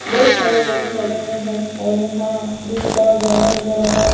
बहुत सारे लोग ठहरे हुए हैंऔर यहां दिन का उजाला नजर आ रहा है।